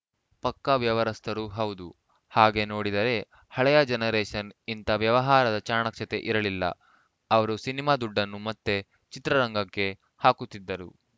ಪಕ್ಕಾ ವ್ಯವರಸ್ಥರು ಹೌದು ಹಾಗೆ ನೋಡಿದರೆ ಹಳೆಯ ಜನರೇಷನ್‌ ಇಂಥ ವ್ಯವಹಾರದ ಚಾಣಕ್ಷತೆ ಇರಲಿಲ್ಲ ಅವರು ಸಿನಿಮಾ ದುಡ್ಡನ್ನು ಮತ್ತೆ ಚಿತ್ರರಂಗಕ್ಕೆ ಹಾಕುತ್ತಿದ್ದರು